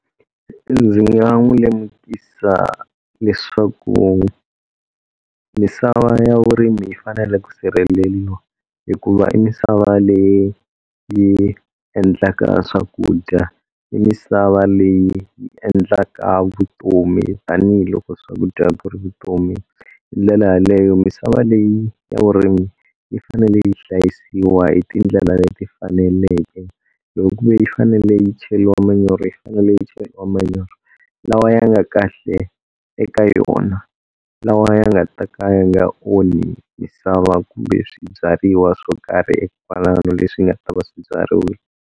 Ndzi nga n'wi lemukisa leswaku misava ya vurimi yi fanele ku sirheleriwa, hikuva i misava leyi yi endlaka swakudya, i misava leyi yi endlaka vutomi tanihiloko swakudya ku ri vutomi. Hindlela yeleyo misava leyi ya vurimi yi fanele yi hlayisiwa hi ti ndlela leti faneleke loko kuve yi fanele yi cheriwa manyoro yi fanele yi cheriwa manyoro lawa ya nga kahle eka yona, lawa ya nga ta ka ya nga onhi misava kumbe swibyariwa swo karhi kwalano leswi nga ta va swibyariwile.